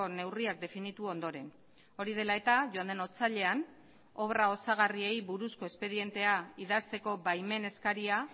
neurriak definitu ondoren hori dela eta joan den otsailean obra osagarriei buruzko espedientea idazteko baimen eskaria